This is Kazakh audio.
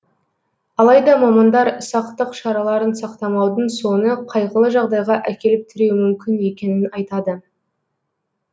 алайда мамандар сақтық шараларын сақтамаудың соңы қайғылы жағдайға әкеліп тіреуі мүмкін екенін айтады